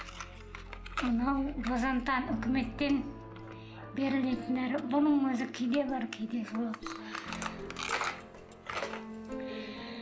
мынау базентан үкіметтен берілетін дәрі бұның өзі кейде бар кейде жоқ